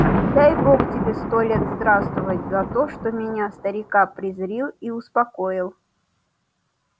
дай бог тебе сто лет здравствовать за то что меня старика призрил и успокоил